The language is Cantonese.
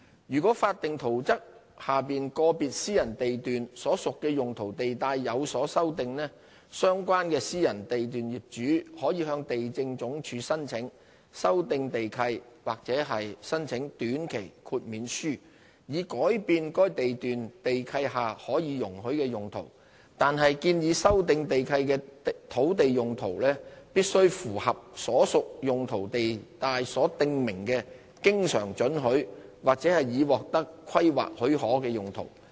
如果法定圖則下個別私人地段所屬的用途地帶有所修訂，相關私人地段業主可以向地政總署申請修訂地契或申請短期豁免書，以改變該地段地契下可以容許的用途，但建議修訂地契的土地用途必須符合所屬用途地帶所訂明的經常准許或已獲得規劃許可的用途。